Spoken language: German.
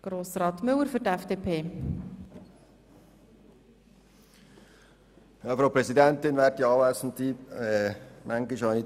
Manchmal habe ich das Gefühl, dass hier nicht alle vom Gleichen sprechen.